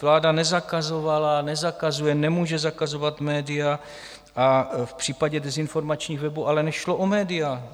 Vláda nezakazovala a nezakazuje, nemůže zakazovat média, v případě dezinformačních webů ale nešlo o média.